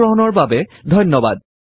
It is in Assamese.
অংশ গ্ৰহণৰ বাবে আপোনালৈ ধন্যবাদ